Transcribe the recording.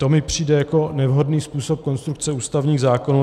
To mi přijde jako nevhodný způsob konstrukce ústavních zákonů.